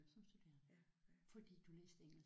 Som studerende fordi du læste engelsk?